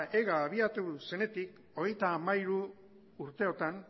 ega abiatu zenetik hogeita hamairu urteotan